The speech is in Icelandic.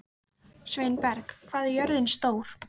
Sveinberg, hvað er jörðin stór?